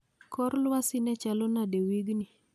Kor lwasi ne chalo nade wigni